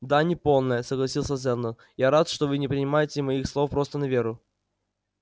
да неполная согласился сэлдон я рад что вы не принимаете моих слов просто на веру